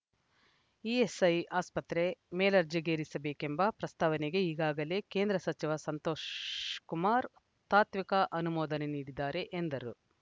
ESI ಆಸ್ಪತ್ರೆ ಮೇಲ್ದರ್ಜೆಗೇರಿಸ ಬೇಕೆಂಬ ಪ್ರಸ್ತಾವನೆಗೆ ಈಗಾಗಲೇ ಕೇಂದ್ರ ಸಚಿವ ಸಂತೋಷಕುಮಾರ್‌ ತಾತ್ವಿಕ ಅನುಮೋದನೆ ನೀಡಿದ್ದಾರೆ ಎಂದರು